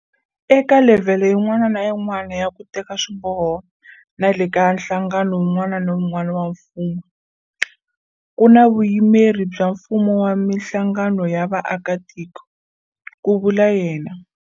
Eka levhele yin'wana na yin'wana ya ku teka swiboho na le ka nhlangano wun'wana na wun'wana wa mfumo, ku na vuyimeri bya mfumo na mihlangano ya vaakitiko, ku vula yena.